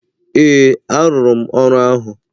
Ee, arụrụ m ọrụ ahụ.